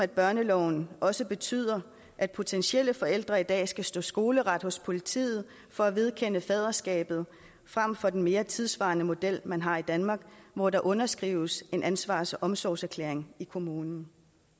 børneloven også betyder at potentielle forældre i dag skal stå skoleret hos politiet for at vedkende sig faderskabet frem for den mere tidssvarende model man har i danmark hvor der underskrives en ansvars og omsorgserklæring i kommunen